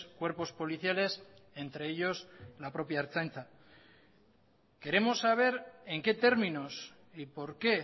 cuerpos policiales entre ellos la propia ertzaintza queremos saber en qué términos y por qué